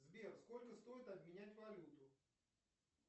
сбер сколько стоит обменять валюту